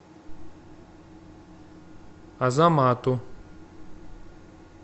азамату